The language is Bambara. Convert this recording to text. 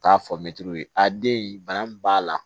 T'a fɔ mɛtiriw ye a den bana min b'a la